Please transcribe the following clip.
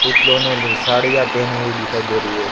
पुतलों ने साड़ियां पहनी हुई दिखाई दे रही है।